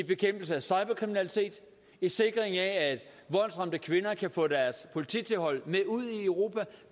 bekæmpelse af cyberkriminalitet sikring af at voldsramte kvinder kan få deres polititilhold med ud i europa